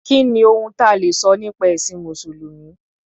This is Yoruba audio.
Kí ni ohun ta lè sọ nípa ẹ̀sìn Mùsùlùmí?